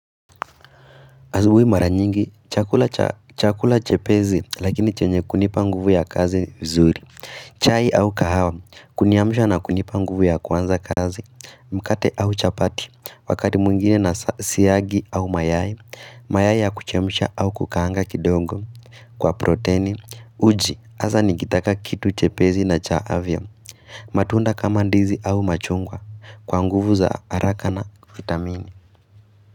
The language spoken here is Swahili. Asubuhi mara nyingi chakula cha chakula chepezi lakini chenye kunipa nguvu ya kazi zuri chai au kahawa kuniamishwa na kunipa nguvu ya kwanza kazi Mkate au chapati wakati mwingine na siayagi au mayai mayai ya kuchemsha au kukaanga kidogo Kwa proteni uji hasa nikitaka kitu chepezi na cha avya matunda kama ndizi au machungwa kwa nguvu za haraka na vitamini.